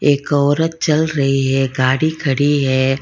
एक औरत चल रही है गाड़ी खड़ी है।